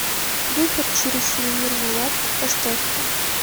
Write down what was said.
выход через сувенирную лавку поставь ка